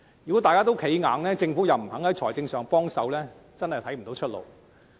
如果大家都寸步不讓，而政府又不願意提供財政援助，我真的看不到出路。